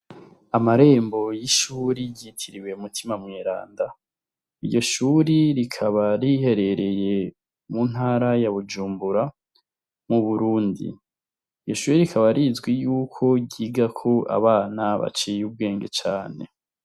amarembo y'ishuri ry'itiriwe mutima mweranda. iryo shuri rikaba riherereye mu ntara ya bujumbura mu burundi. iryo shuri rikaba rizwi y'uko ryigako abana baciye ubwenge cane.